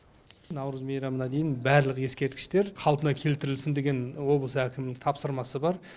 наурыз мейрамына дейін барлық ескерткіштер қалпына келтірілсін деген облыс әкімінің тапсырмасы бар